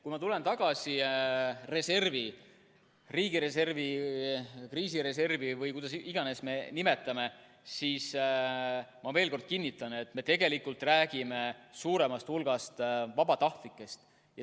Kui ma tulen tagasi reservi, riigireservi või kriisireservi – või kuidas iganes me seda nimetame – juurde, siis ma veel kord kinnitan, et tegelikult me räägime suuremast hulgast vabatahtlikest.